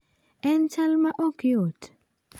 En chal ma ok yot?